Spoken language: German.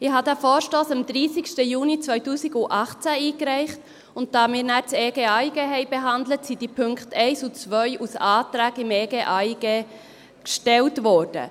Ich habe diesen Vorstoss am 30. Juni 2018 eingereicht, und da wir danach das Einführungsgesetz zum Ausländer und Integrationsgesetz sowie zum Asylgesetz (EG AIG und AsylG) behandelt haben, sind diese Punkte 1 und 2 als Anträge zum EG AIG gestellt worden.